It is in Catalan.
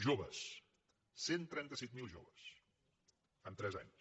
joves cent i trenta set mil joves en tres anys